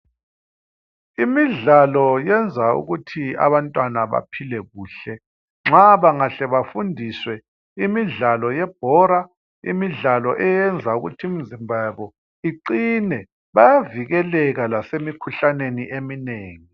Imidlalo yenza ukuthi abantwana baphile kuhle nxa bangahle bafundiswe imidlalo yebhora, imidlalo eyenza ukuthi imizimba yabo iqine bayavikeleka lasemikhuhlaneni eminengi.